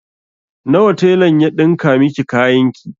Nawa telan ya ɗinka miki kayan ki?